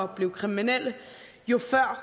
blive kriminelle jo før